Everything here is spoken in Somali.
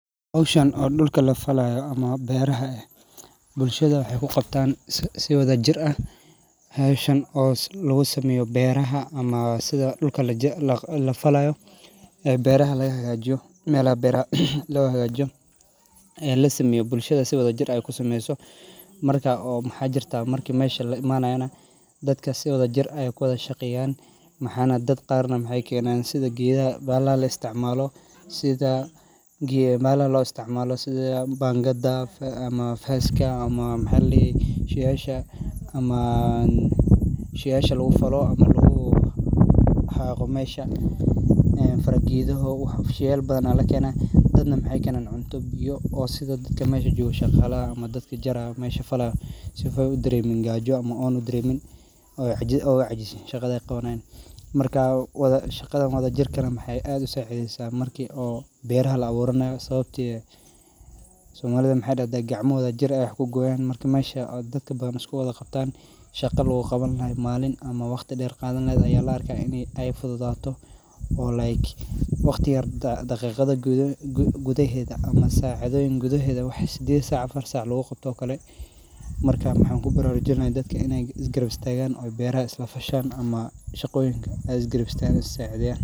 Hawshan oo Dhulka la falayo ama bere ha ah bulshada waxay u qabtaan si waddajir ah. hawshan lagu samayo beeraha ama dhulka la jeed la falayo. Beraha laga gaajiyo meela beera loo gaajiyo ee la samayo bulshada si waddajir ay ku sameyso marka oo maxaajirta markii may shalay maana ayna dadka si waddajir ay kuwo shaqeeya. Maxaa na dad qaarna maxaa keena sida giida baal la isticmaalo. Sida geli maal la isticmaalo, sidoo baangadan ama feeska ama maxalli shiyeeya ama shiyeeyaa shal u falo ama laguu xaq u maysha faragiidahu sheel badana lakeena dad namey kena cunto biyo oo sida dadka meesho shaqal ama dadka jara may shafa si ula dareemin gaajo ama oon u dareemin. Wixii cajiis wa cajiis shaqaday qowwan. Markaa wada shaqadan wada jir kala hay adiga xiriirsan markii uu beer la warinay sabti Soomaaliya dhexe dad gacmuda jir ay ku goyeen markii maysha dadka Baarniski wada qabtaan shaqo lagugu qaban lahay maalin ama waqti dheer qaadanayd ayaa la arkay in ay fududaa to. o like waqti yar daqiiqada gudahida ama saacadoyin gudahida waxay sidax saac afaar saac lagu qabto kale. Markaan maxaan ku bararo jirno dadka inay garab stegan oo beer isla fashan ama shaqooyinka is garab stegan si sacidiyaan.